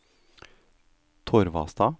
Torvastad